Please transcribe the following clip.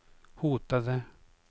hotade